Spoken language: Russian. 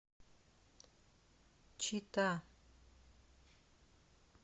чита